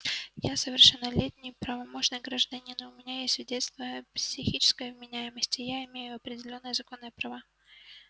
я совершеннолетний правомочный гражданин у меня есть свидетельство о психической вменяемости и я имею определённые законные права